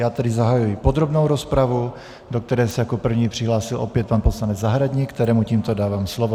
Já tedy zahajuji podrobnou rozpravu, do které se jako první přihlásil opět pan poslanec Zahradník, kterému tímto dávám slovo.